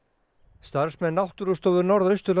starfsmenn Náttúrustofu Norðausturlands